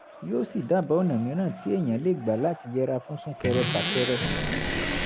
yóò sì dábàá ọ̀nà mìíràn tí èèyàn lè gbà láti yẹra fún sún-kẹrẹ-fà-kẹrẹ